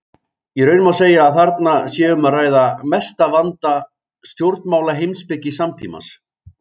Í raun má segja að þarna sé um að ræða mesta vanda stjórnmálaheimspeki samtímans.